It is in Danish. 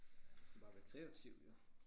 De skal bare være kreative jo